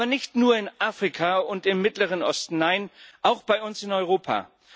Aber nicht nur in Afrika und im Mittleren Osten, nein, auch bei uns in Europa.